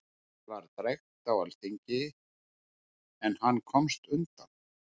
Henni var drekkt á alþingi, en hann komst undan.